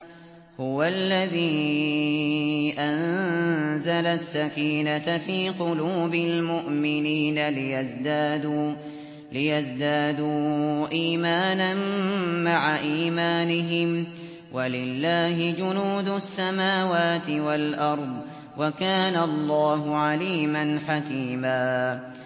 هُوَ الَّذِي أَنزَلَ السَّكِينَةَ فِي قُلُوبِ الْمُؤْمِنِينَ لِيَزْدَادُوا إِيمَانًا مَّعَ إِيمَانِهِمْ ۗ وَلِلَّهِ جُنُودُ السَّمَاوَاتِ وَالْأَرْضِ ۚ وَكَانَ اللَّهُ عَلِيمًا حَكِيمًا